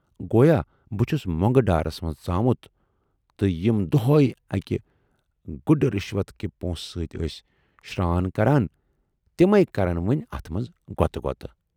گویا بہٕ چھُس مۅنگہٕ ڈارس مَنز ژامُت تہٕ یِم دۅہےٕ اکہِ گڈٕ رِشوت کہِ پۄنٛسہٕ سۭتۍ ٲسۍ شران کران تِمٕے کرن وۅنۍ اتھ منزٕ غۅطٕ غۅط۔